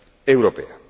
Europea